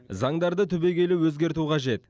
заңдарды түбегейлі өзгерту қажет